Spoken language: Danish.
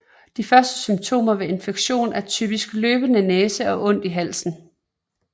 De første symptomer ved infektionen er typisk løbende næse og ondt i halsen